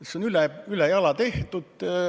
See on üle jala tehtud.